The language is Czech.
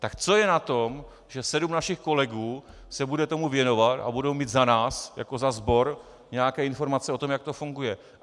Tak co je na tom, že sedm našich kolegů se bude tomu věnovat a budou mít za nás jako za sbor nějaké informace o tom, jak to funguje?